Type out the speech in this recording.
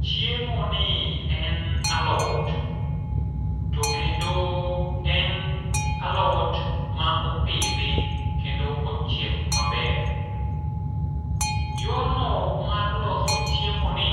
Chiemoni en alot, to kendo en alot ma opidhi kendo ochiek maber. Yorno mar loso chiemoni